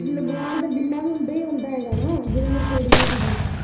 ਲਗਵਾਉਣ ਦਾ ਜਿੰਨਾਂ ਵੀ ਹੁੰਦਾ, ਹੁੰਦਾ ਹੈਗਾ ਨਾ ਜਿੰਨਾਂ ਨੇ ਤੋੜੀਆ ਸੀਗੀਆ।